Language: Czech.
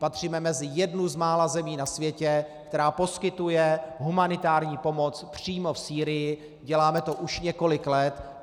Patříme mezi jednu z mála zemí na světě, která poskytuje humanitární pomoc přímo v Sýrii, děláme to už několik let.